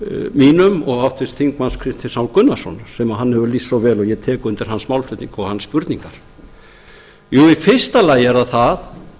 mínum og háttvirtur þingmaður kristins h gunnarssonar sem hann hefur lýst svo vel og ég tek undir hans málflutning og hans spurningar í fyrsta lagi er það það